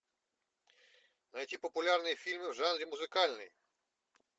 найти популярные фильмы в жанре музыкальный